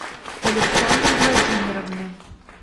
александры владимировны